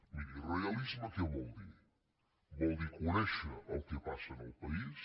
miri realisme què vol dir vol dir conèixer el que passa en el país